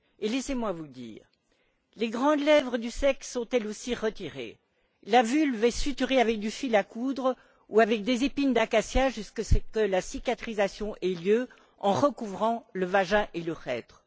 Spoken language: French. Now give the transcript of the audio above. Laissez moi vous dire les grandes lèvres du sexe sont elles aussi retirées, la vulve est suturée avec du fil à coudre ou avec des épines d'acacia jusqu'à ce que la cicatrisation ait lieu en recouvrant le vagin et l'urètre.